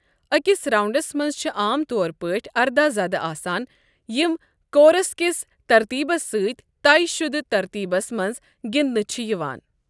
أکِس 'راؤنڈس' منٛز چھِ عام طور پٲٹھۍ ارداہ ذدٕ آسان یِم کورس کِس ترتیٖبس سۭتۍ طے شدٕ ترتیٖبس منٛز گنٛدٕنہٕ چھِ یِوان۔